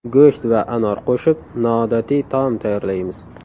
Go‘sht va anor qo‘shib noodatiy taom tayyorlaymiz.